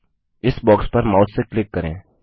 इस बॉक्स पर माउस से क्लिक करें